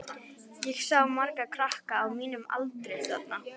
Ég sá marga krakka á mínum aldri þarna.